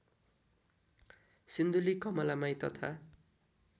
सिन्धुली कमलामाई तथा